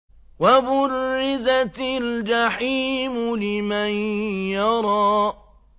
وَبُرِّزَتِ الْجَحِيمُ لِمَن يَرَىٰ